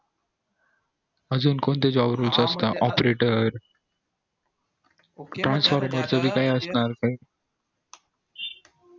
अजून कोणते job roloe असतात operator